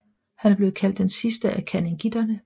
Han er blevet kaldt den sidste af Canningitterne